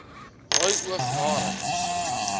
rooi oog harings